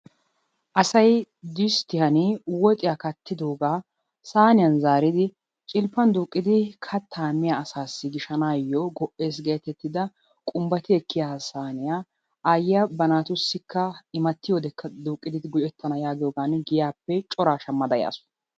Asay disttiyaan woxiyaa kattidoogaa sayniyaan zaaridi cilppaan duuqqidi kattaa miyaa asasi gishshanayoo go"ees getettida qumbati ekkiyaa saaniyaa ayiyaa ba naatussika immati yiyoode duuqqidi nu ekkana yaagidoogan giyaappe coraa shaammada yaasu.